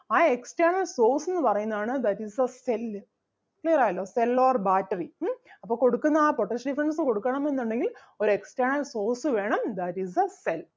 ആ external source എന്ന് പറയുന്നതാണ് that is the cell clear ആയല്ലോ cell or battery ഉം അപ്പം കൊടുക്കുന്ന ആ potential difference കൊടുക്കണം എന്നുണ്ടെങ്കിൽ ഒരു external source വേണം that is the cell